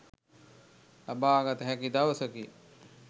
ලබාගත හැකි දවසකි.